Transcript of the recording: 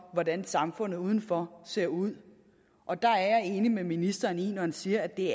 hvordan samfundet udenfor ser ud og der er jeg enig med ministeren når han siger at det